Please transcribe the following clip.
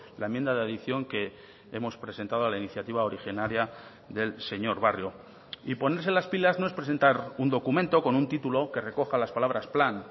la enmienda de adición que hemos presentado a la iniciativa originaria del señor barrio y ponerse las pilas no es presentar un documento con un título que recoja las palabras plan